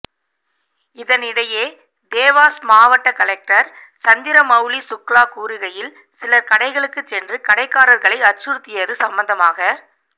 இதனிடையே தேவாஸ் மாவட்ட கலெக்டர் சந்திரமவுலிசுக்லா கூறுகையில் சிலர் கடைக்களுக்கு சென்று கடைக்காரர்களை அச்சுறுத்தியது சம்பந்தமாக